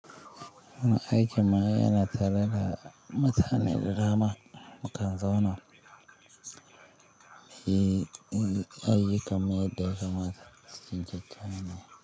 Wani aikin ma yana tare da mutane da dama mukan zauna. Yi ayyukan mu yadda ya kamata cikin jita ne.